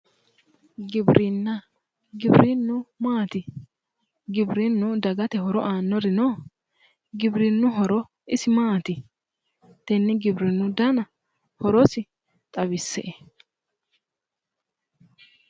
Giwirinna, giwirinnu maati? giwirinnu dagate horo aannori no? giwirinnu horo isi maati? tenne giwirinnu dana horosi xawisse'e.